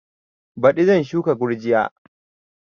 Baɗi zan shuka gurjiya